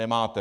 Nemáte!